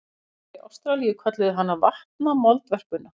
Landnemar Ástralíu kölluðu hana vatnamoldvörpuna.